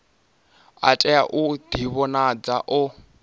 a tea u ḓivhonadza o